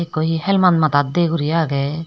ekko he helmet madat de guri agey.